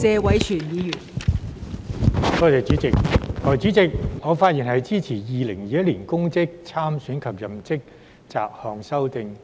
代理主席，我發言支持《2021年公職條例草案》二讀。